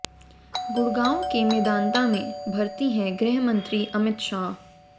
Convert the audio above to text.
गुड़गांव के मेदांता में भर्ती हैं गृह मंत्री अमित शाह